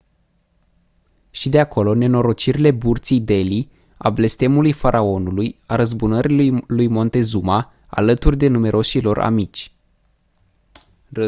și de acolo nenorocirile burții delhi a blestemului faraonului a răzbunării lui montezuma alături de numeroșii lor amici